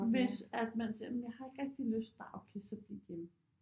Hvis at man siger men jeg har ikke rigtig lyst nej okay så bliv hjemme